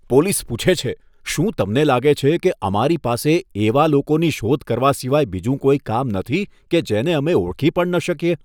Police પૂછે છે, શું તમને લાગે છે કે અમારી પાસે એવા લોકોની શોધ કરવા સિવાય બીજું કોઈ કામ નથી કે જેને અમે ઓળખી પણ ન શકીએ?